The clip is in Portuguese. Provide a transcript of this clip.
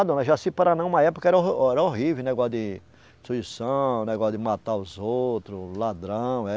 Ah dona Jaci-Paraná, uma época era or, era horrível, negócio de destruição, negócio de matar os outros, ladrão, eh.